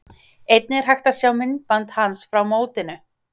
Einnig er hægt að sjá myndband hans frá mótinu.